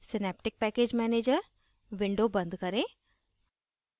synaptic package manager window बंद करें